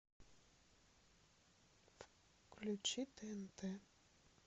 включи тнт